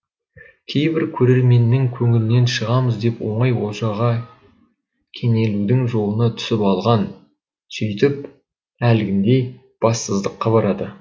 кейбір көрерменнің көңілінен шығамыз деп оңай олжаға кенелудің жолына түсіп алған сөйтіп әлгіндей бассыздыққа барады